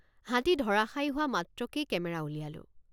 হাতী ধৰাশায়ী হোৱা মাত্ৰকেই কেমেৰা উলিয়ালোঁ।